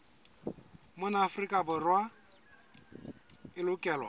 mona afrika borwa e lokelwa